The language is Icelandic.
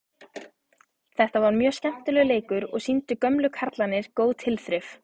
Þetta var mjög skemmtilegur leikur og sýndu gömlu kallarnir góð tilþrif.